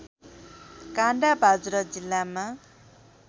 काँडा बाजुरा जिल्लामा